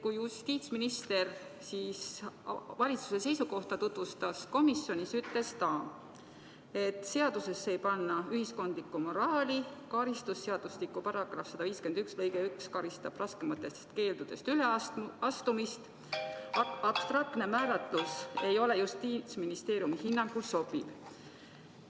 Kui justiitsminister komisjonis valitsuse seisukohta tutvustas, ütles ta, et seadusesse ei panda ühiskondlikku moraali, karistusseadustiku § 151 lõige 1 juba karistab raskematest keeldudest üleastumist ning abstraktne määratlus ei ole Justiitsministeeriumi hinnangul sobiv.